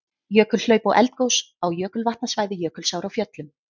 Jökulhlaup og eldgos á jökulvatnasvæði Jökulsár á Fjöllum.